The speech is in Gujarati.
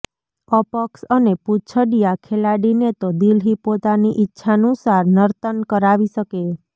અપક્ષ અને પૂંછડીયા ખેલાડીને તો દિલ્હી પોતાની ઈચ્છાનુસાર નર્તન કરાવી શકે